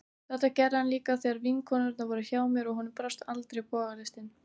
Þetta gerði hann líka þegar vinkonurnar voru hjá mér, og honum brást aldrei bogalistin.